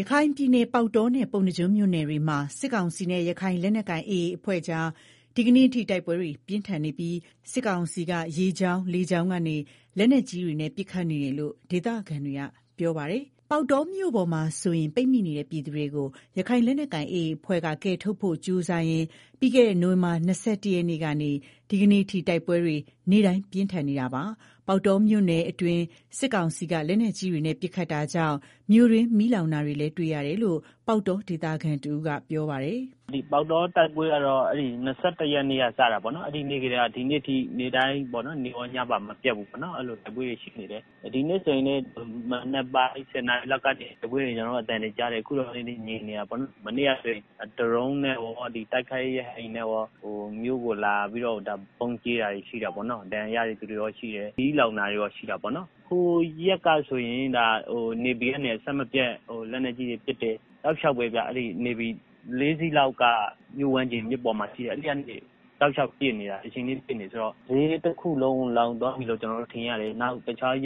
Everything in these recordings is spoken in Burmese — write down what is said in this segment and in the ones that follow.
ရခိုင်ပြည်နယ်က ပေါက်တောနဲ့ ပုဏ္ဏားကျွန်းမြို့နယ်တွေမှာ စစ်ကောင်စီနဲ့ ရခိုင်လက်နက် ကိုင်AAအဖွဲ့ကြား ဒီကနေ့အထိ တိုက်ပွဲတွေပြင်းထန်နေပြီး စစ်ကောင်စီက ရေကြောင်း လေကြောင်းကနေ လက်နက်ကြီးတွေနဲ့ ပစ်ခတ်နေတယ်လို့ ဒေသခံတွေ ကပြောဆိုကြ ပါတယ်။ ပေါက်တောမြို့ပေါ်မှာဆိုရင် ပိတ်မိနေတဲ့ ပြည်သူတွေကို ရခိုင်လက်နက်ကိုင်AAအဖွဲ့က ကယ်ထုတ်ဖို့ကြီးစားရင် ပြီးခဲ့တဲ့ နိုင်ဝင်ဘာလ ၂၁ရက်နေ့ကနေ ဒီကနေ့ တိုက်ပွဲတွေ နေ့တိုင်းပြင်းထန်နေတာပါ။ပေါက်တောမြို့အတွင်း စစ်ကောင်စီက လက်နက်ကြီးတွေနဲ့ ပစ်ခတ်တာကြောင့် မြို့တွင်းမီးလောင်နေတာတွေကို တွေ့ရတယ်လို့လည်း ပေါက်တောဒေသခံတဦးကပြောပါတယ်။ “ ပေါက်တော တိုက်ပွဲကတော့ ၂၁ရက်နေ့က စတာပေါ့နော်၊ အဲဒီနေ့ကတည်းက ဒီနေ့အထိ နေ့တိုင်း နေ့ကောညပါမပျက်ဘူးတိုက်ပွဲတွေ ရှိနေတယ်၊ ဒီကနေ့ ဆိုရင်လည်း မနက်ပိုင်း ၁ဝနာရီလောက်ကနေ တိုက်ပွဲသံတွေကြားတယ် အခုတော့ ငြိမ်နေတာပေါေ့နာ်။ မနေ့ကလည်း ဒရုန်းနဲ့ရော တိုက်ခိုက်ရေး ရဟတ်ယာဉ်နဲ့ရော မြို့ကို လာပြီးတော့ ဗုံးကြဲတာတွေရှိတာပေါ့နော်၊ ဒဏ်ရာရတဲ့ သူတွေလည်းရှိတယ်၊ မီးလောင်တာတွေ လည်းရှိတယ်၊ ဟိုရက်ကဆိုရင် နေဗီကနေ အဆက်မပြတ် လက်နက်ကြီးတွေ ပစ်တယ်၊ တောက်လျောက်ပဲဗျာ နေဗီ၄စီးလောက်က ပစ်နေတာ၊ မီးတွေလောင်တယ် ဆိုတော့ ဈေးတခုလုံး လောင်သွားပြီလို့ကျနော်တို့ ထင်ရတယ်၊နောက် ဟိုနား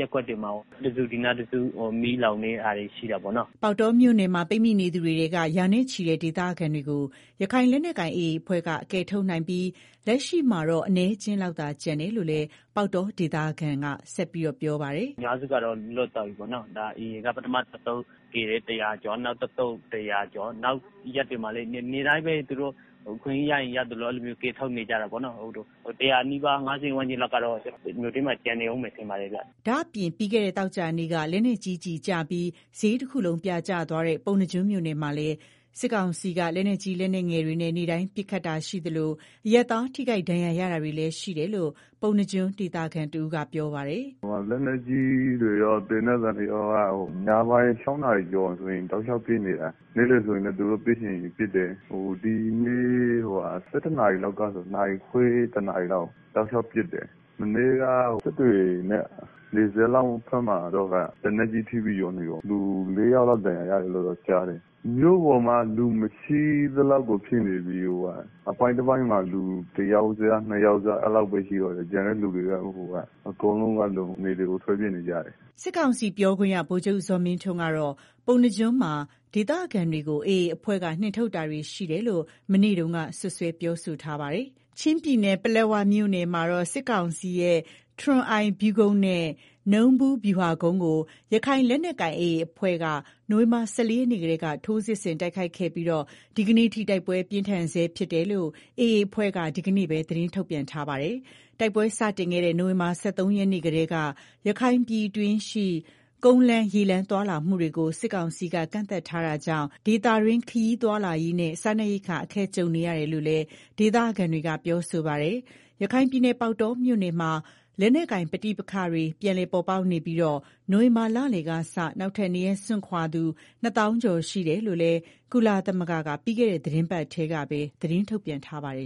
တခု ဒီနားတစု မီးလောင်နေတာရှိတာပေါ့နော်။” ပေါက်တောမြို့မှာပိတ်မိနေသူတွေထဲက ရာနဲ့ချီတဲ့ ဒေသခံတွေကို ရခိုင်လက်နက်ကိုင် AA အဖွဲ့ကကယ်ထုတ်နိုင်ပြီး လက်ရှိမှာတော့အနည်းအကျင်းလောက် သာကျန်တော့ တယ်လို့လည်း ပေါက်တောဒေသခံကဆက်ပြောပါတယ်။ “ကျနော်တို့ အထင် အများစုက လွတ်သွားကြပြီ AA က ပထမ တသုတ်ကယ်တယ်။ ၁ဝဝကျော် နောက်တသုတ် ၁ဝဝကျော် နောက်ရက်တွေမှာလည်း နေ့တိုင်းပဲ သူတို့ အခွင့်ရေးရရင် ရသလို ကယ်ထုတ်နေကြတာပေါ့နော်၊ အများစုက လွတ်သွားပြီထင်ပါတယ်၊ ဒါပေမယ့် ၁ဝဝနီးပါး ၅ဝဝန်းကျင်လောက်ကတော့ မြို့ထဲမှာ ကျန်နေအုံးမယ်ထင်ပါတယ်ဗျာ။” ဒါ့အပြင့် ပြီးခဲ့တဲ့ သောကြာနေ့က လက်နက်ကြီးကျပြီး ဈေးတခုလုံးပြာကျသွားတဲ့ ပုဏ္ဏားကျွန်းမြို့နယ်မှာလည်း စစ်ကောင်စီက လက်နက်ကြီး လက်နက်ငယ်တွေနဲ့ နေ့တိုင်း ပစ်ခတ်နေတာရှိသလို အရပ်သားထိခိုက်ဒဏ်ရာရတာတွေလည်းရှိတယ်လို့ ပုဏ္ဏား ကျွန်းဒေသခံတဦးကပြောပါတယ်။ “ လက်နက်ကြီးတွေရော သေနတ်သံတွေက ညပိုင်း ၆နာရီလောက်ဆိုရင် တောက်လျောက် ပစ်နေတာ၊ နေ့လည်ဆိုရင်လည်း သူတို့ ပစ်ချင်ရင် ပစ်တယ်၊ ဒီနေ့ ၁၁နာရီလောက်ကစပြီး တောက်လျောက်ပစ်တယ်၊ မနေ့ကတော့ နယ်ဘက်က စစ်တွေနဲ့နီးတဲ့ ရွာမှာတော့ လက်နက်ကြီးကျပြီး ၄ယောက်လောက် ဒဏ်ရာရတယ်လို့ ကြားတယ်၊ မြို့ပေါ်မှာက လူမရှိသလောက်ဖြစ်နေပြီ အပိုင်းတပိုင်းမှာ လူတယောက်စ ၂ယောက် စလောက်ပဲရှိတော့တာ ကျန်တဲ့ သူတွေ အကုန်လုံးက နယ်တွေကို ထွက်ပြေးနေကြတယ်။” စစ်ကောင်စီပြောခွင့်ရ ဗိုလ်ချုပ်ဇော်မင်းထွန်းကတော့ ပုဏ္ဏားကျွန်းမှာ ဒေသခံတွေကို AA အဖွဲ့က နှင်ထုတ်တာတွေ ရှိနေတယ်လို့ မနေ့တုန်းကပဲ စွပ်စွဲပြောဆိုထားပါတယ်။ ချင်းပြည်နယ် ပလက်ဝမြို့နယ်မှာတော့ စစ်ကောင်စီရဲ့ ထရွန်အိုင်ဗျူးကုန်းနဲ့ နူးဗူးဗျူဟာကုန်းကို ရခိုင်လက်နက်ကိုင်AAအဖွဲ့က နိုဝင်ဘာလ ၁၄ရက်နေ့ကတည်းက ထိုးစစ်ဆင်တိုက်ခိုက်ခဲ့ပြီး ဒီကနေ့အထိတိုက်ပွဲပြင်းထန်နေဆဲဖြစ်တယ်လို့ AA အဖွဲ့က ဒီကနေ့ပဲ သတင်းထုတ်ပြန်ထားတာပါ။ တိုက်ပွဲစတင်ခဲ့တဲ့ နိုဝင်ဘာလ ၁၃ရက်နေ့ကတည်း ရခိုင်ပြည်တွင်းရှိ ကုန်းလမ်းရေလမ်း သွားလာမှုတွေကို စစ်ကောင်စီက ကန့်သတ်ထားတာကြောင့် ဒေသတွင်း ခရီးသွားလာရေးနဲ့ စားနပ်ရိက္ခာ အခက်ကြုံနေရတယ်လို့လည်း ဒေသခံတွေက ပြောဆိုကြပါတယ်။ ရခိုင်ပြည်နယ် ပေါက်တောမြို့နယ်မှာ လက်နက်ကိုင် ပဋိပက္ခတွေ ပြန်လည်ပေါ်ပေါက်နေပြီး နိုဝင်ဘာလလယ်ကစ နောက်ထပ်နေရပ်စွန့်ခွာရသူ ၂ သောင်းကျော် ရှိတယ်လို့လည်း ကုလသမဂ္ဂက ပြီးခဲ့တဲ့ သီတင်းပတ်ထဲမှာပဲ သတင်းထုတ်ပြန်ထားပါတယ်